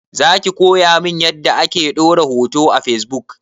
Zaki koya min yanda ake ɗora hoto a fesbuk?